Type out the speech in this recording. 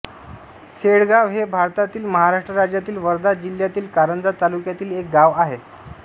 सेळगाव हे भारतातील महाराष्ट्र राज्यातील वर्धा जिल्ह्यातील कारंजा तालुक्यातील एक गाव आहे